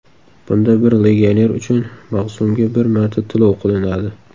Bunda bir legioner uchun mavsumga bir marta to‘lov qilinadi.